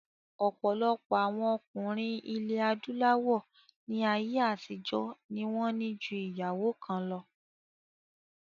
Ọ̀pọ̀lọpọ̀ àwọn ọkùnrin ilẹ̀ adúláwọ̀ ní ayé àtijọ́ ní wọ́n ní ju ìyàwó kan lọ